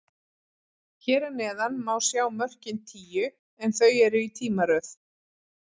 Hér að neðan má sjá mörkin tíu, en þau eru í tímaröð.